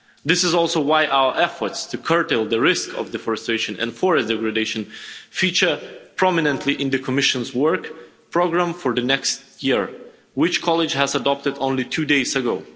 act. This is also why our efforts to curtail the risk of deforestation and forest degradation feature prominently in the Commission's work programme for the next year, which the College adopted only two days